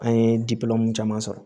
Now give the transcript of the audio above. An ye caman sɔrɔ